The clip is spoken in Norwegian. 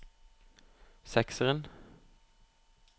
sekseren